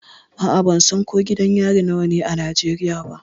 A'a, ban san ko gidan yari nawa ne a Najeriya ba.